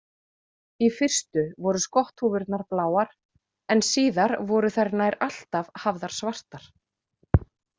Í fyrstu voru skotthúfurnar bláar en síðar voru þær nær alltaf hafðar svartar.